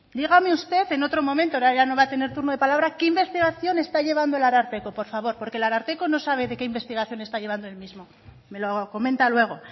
dígame usted en otro momento ahora ya no va a tener turno de palabra qué investigación está llevando el ararteko por favor porque el ararteko no sabe qué investigación está llevando el mismo me lo comenta luego